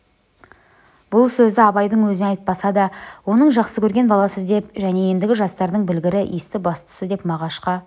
бұл сөзді абайдың өзіне айтпаса да оның жақсы көрген баласы деп және ендігі жастардың білгірі есті-бастысы деп мағашқа